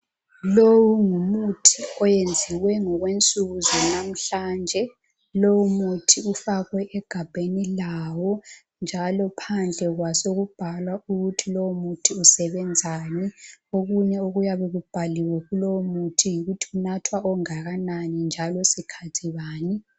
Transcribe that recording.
Lo ngumuthi oyenzwe ngokwensuku zanamhlanje lomuthi ufakwe egabheni layo njalo phandle kwasokubhalwa ukuthi lomuthi usebenzani okunye okuyabe kubhaliwe kulowo muthi yikuthi kunathwa ongakanani njalo sikhathi bani.